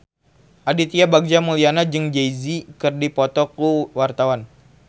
Aditya Bagja Mulyana jeung Jay Z keur dipoto ku wartawan